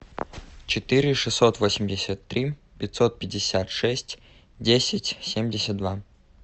четыре шестьсот восемьдесят три пятьсот пятьдесят шесть десять семьдесят два